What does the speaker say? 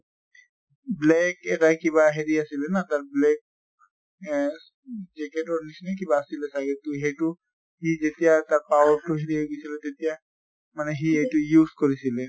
black এটা কিবা হেৰি আছিলে ন তাৰ black আহ jacket ৰ নিছিনা কিবা আছিলে চাগে। তʼ এইটো সি যেতিয়া তাৰ power তো হেৰি হৈ গৈছিলে তেতিয়া মানে সি এইটো উচে কৰিছিলে।